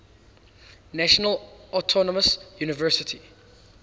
national autonomous university